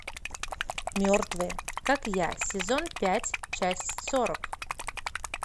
мертвые как я сезон пять часть сорок